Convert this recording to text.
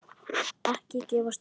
Ekki gefast upp!